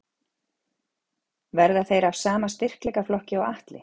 Verða þeir af sama styrkleikaflokki og Atli?